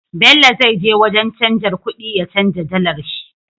Bello zai je wajan canjar kuɗi ya canja dalar sh